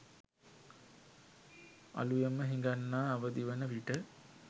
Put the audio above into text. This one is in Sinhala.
අළුයම හිඟන්නා අවදිවන විට